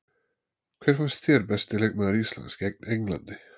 Hver fannst þér besti leikmaður Íslands gegn Englandi?